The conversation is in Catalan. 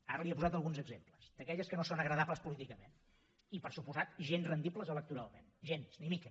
ara li n’he posat alguns exemples d’aquelles que no són agradables políticament i per descomptat gens rendibles electoralment gens ni mica